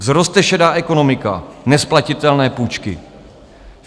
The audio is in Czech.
Vzroste šedá ekonomika, nesplatitelné půjčky.